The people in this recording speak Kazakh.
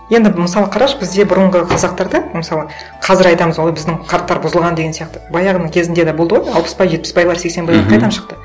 енді мысалы қарашы бізде бұрынғы қазақтарда мысалы қазір айтамыз ой біздің қарттар бұзылған деген сияқты баяғының кезінде де болды ғой алпысбай жетпісбайлар сексенбайлар қайдан шықты